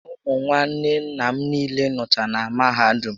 Ụmụ nwanne nna m niile nọcha na mahadum